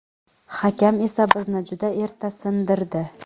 Hakam esa bizni juda erta sindirdi.